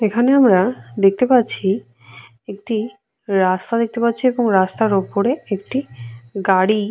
এখানে আমরা দেখতে পাচ্ছি একটি রাস্তা দেখতে পাচ্ছি এবং রাস্তার ওপরে একটি গাড়ি।